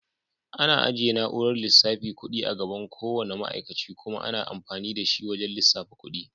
Ana ajiye na'urar lissafa kuɗi a gaban ko wanna ma'aikace kuma ana amfani da shi wajan lissafa kuɗi.